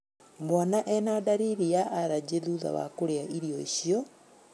Mwana ena ndariri ya arajĩ thutha wa kũrĩa irio icio